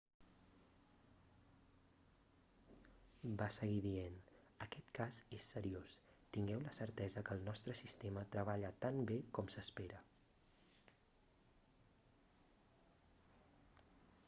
va seguir dient aquest cas és seriós tingueu la certesa que el nostre sistema treballa tan bé com s'espera